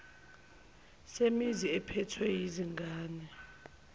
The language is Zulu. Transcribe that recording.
semizi ephethwe yizingane